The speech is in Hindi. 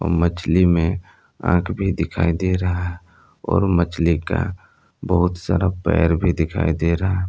मछली में आंख भी दिखाई दे रहा और मछली का बहुत सारा पैर भी दिखाई दे रहा--